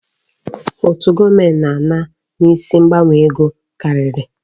Ụtụ gọọmenti na-ana n'isi mgbanwe ego karịrị.